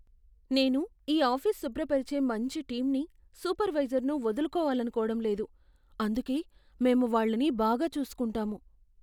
నేను ఈ ఆఫీస్ శుభ్రపరిచే మంచి టీంని, సూపర్వైజర్ను వదులుకోవాలనుకోవడం లేదు. అందుకే, మేము వాళ్ళని బాగా చూసుకుంటాము.